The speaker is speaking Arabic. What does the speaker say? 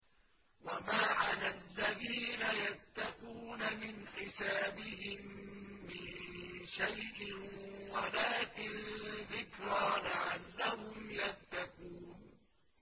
وَمَا عَلَى الَّذِينَ يَتَّقُونَ مِنْ حِسَابِهِم مِّن شَيْءٍ وَلَٰكِن ذِكْرَىٰ لَعَلَّهُمْ يَتَّقُونَ